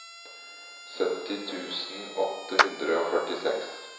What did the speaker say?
sytti tusen åtte hundre og førtiseks